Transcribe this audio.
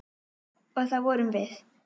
Og það vorum við.